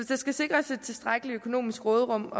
skal sikres et tilstrækkeligt økonomisk råderum